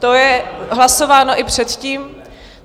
To bylo hlasováno i předtím.